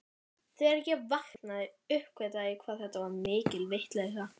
Þegar ég vaknaði uppgötvaði ég hvað þetta var mikil vitleysa.